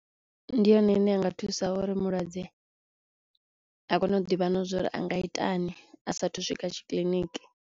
Ndi yone ine ya nga thusa uri mulwadze a kone u ḓivha na zwo uri a nga itani a sa thu u swika tshi kiḽiniki.